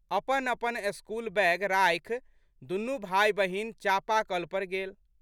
अपनअपन school bag राखि दुनू भाइबहीन चापाकल पर गेल।